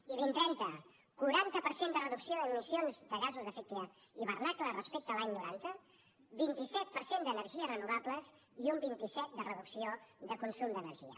i dos mil trenta quaranta per cent de reducció d’emissions de gasos d’efecte hivernacle respecte a l’any noranta vint set per cent d’energies renovables i un vint set de reducció de consum d’energia